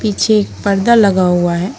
पीछे एक पर्दा लगा हुआ है।